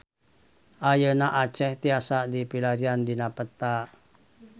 Ayeuna Aceh tiasa dipilarian dina peta